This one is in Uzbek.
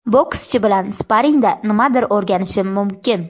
Bokschi bilan sparingda nimadir o‘rganishim mumkin.